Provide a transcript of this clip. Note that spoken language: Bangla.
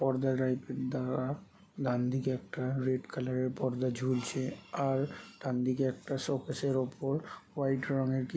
পর্দা টাইপের দেওয়া ডানদিকে একটা রেড কালারের পর্দা ঝুলছে । আর ডানদিকে একটা শোকেসের উপর হোয়াইট রঙের কি--